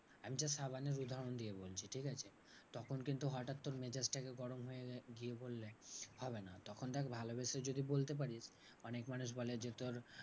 একটা সাবানের উদাহরণ দিয়ে বলছি, ঠিকাছে? তখন কিন্তু হটাৎ তোর মেজাজটাকে গরম হয়ে গিয়ে বললে হবে না। তখন দেখ ভালোবেসে যদি বলতে পারিস অনেক মানুষ বলে যে তোর